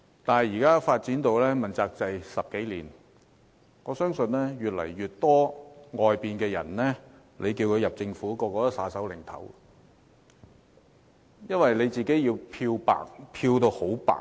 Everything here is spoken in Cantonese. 問責制發展了10多年，我相信越來越多外界人士不願加入政府，因為他們需要將自己漂得很白。